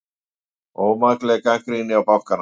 Ómakleg gagnrýni á bankana